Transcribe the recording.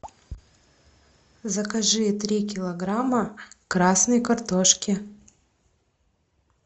закажи три килограмма красной картошки